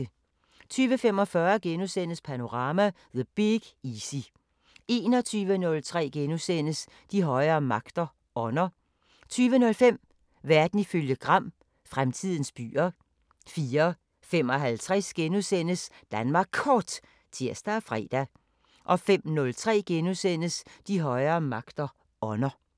20:45: Panorama: The Big Easy * 21:03: De højere magter: Ånder * 00:05: Verden ifølge Gram: Fremtidens byer 04:55: Danmark Kort *(tir og fre) 05:03: De højere magter: Ånder *